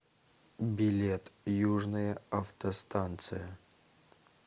билет южная автостанция